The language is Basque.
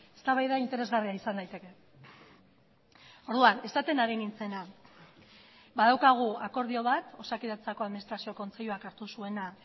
eztabaida interesgarria izan daiteke orduan esaten ari nintzena badaukagu akordio bat osakidetzako administrazio kontseiluak hartu zuena